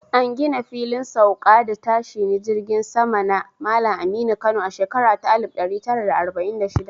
An gina Filin Sauka da Tashine Jiragen Sama na Malam Aminu Kano a shekara ta 1946